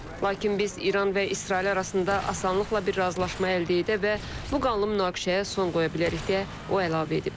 Lakin biz İran və İsrail arasında asanlıqla bir razılaşma əldə edə və bu qanlı münaqişəyə son qoya bilərik, deyə o əlavə edib.